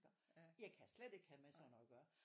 Jeg kan slet ikke have med sådan noget at gøre